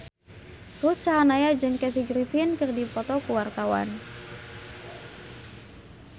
Ruth Sahanaya jeung Kathy Griffin keur dipoto ku wartawan